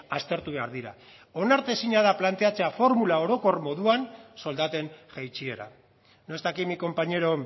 aztertu behar dira onartezina da planteatzea formula orokor moduan soldaten jaitsiera no está aquí mi compañero